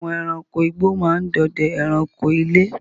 Àwọn èràńko ìgbó máa ń dòdè èràńko ilé.